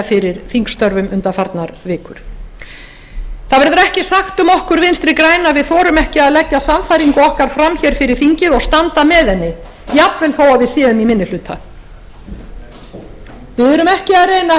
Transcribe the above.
fyrir þingstörfum undanfarnar vikur það verður ekki sagt um okkur vinstri græn að við þorum ekki að leggja sannfæringu okkar fram hér fyrir þingið og standa með henni jafnvel þó við séum í minni hluta við erum ekki að